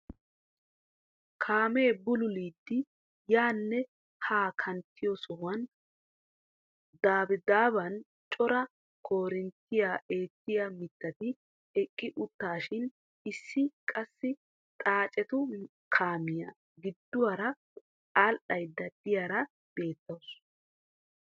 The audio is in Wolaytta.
Kaamee bululidi yaanne haa kanttiyoo sohuwaan dabaaban cora korinttiyaa eettiyaa mittati eqqi uttaashin issi qassi xaacetu kaamiyaa gidduwaara adhaydda diyaara beettawus.